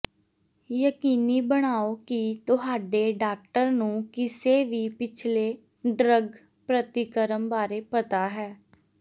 ਯਕੀਨੀ ਬਣਾਓ ਕਿ ਤੁਹਾਡੇ ਡਾਕਟਰ ਨੂੰ ਕਿਸੇ ਵੀ ਪਿਛਲੇ ਡਰੱਗ ਪ੍ਰਤੀਕਰਮ ਬਾਰੇ ਪਤਾ ਹੈ